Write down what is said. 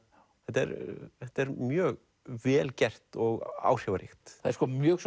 þetta er þetta er mjög vel gert og áhrifaríkt það er mjög